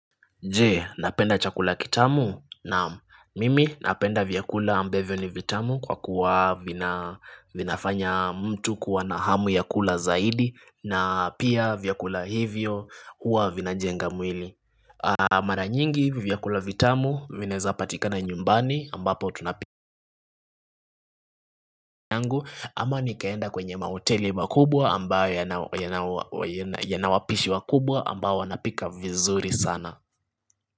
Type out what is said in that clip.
Je, napenda chakula kitamu naam mimi napenda vyakula ambavyo ni vitamu kwa kuwa vinafanya mtu kuwa na hamu ya kula zaidi na pia vyakula hivyo huwa vinajenga mwili Mara nyingi vyakula vitamu vinaezapatikana nyumbani ambapo tunapika yangu ama nikaenda kwenye mahoteli makubwa ambayo yana wapishi wakubwa ambao wanapika vizuri sana.